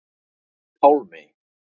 Pálmey